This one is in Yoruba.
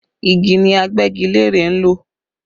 Igi ni Agbẹ́gilére ń lò